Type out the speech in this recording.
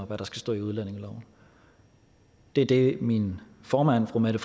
hvad der skal stå i udlændingeloven det er det min formand fru mette